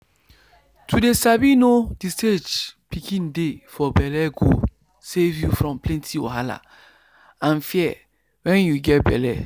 to dey sabi know the stage pikin dey for bellego save you from plenty wahala and fear wen you get belle.